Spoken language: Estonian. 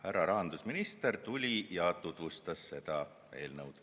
Härra rahandusminister tuli ja tutvustas seda eelnõu.